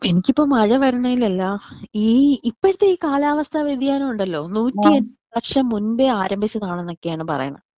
എനിക്കിപ്പോ മഴ വരുന്നേൽ അല്ല ഈ ഇപ്പഴത്തെ ഈ കാലാവസ്ഥ വെതിയാനം ഉണ്ടല്ലോ നൂറ്റി എട്ട് വർഷം മുമ്പേ ആരംഭിച്ചതൊണ് ന്നൊക്കെയാണെന്നാണ് പറയിണ്.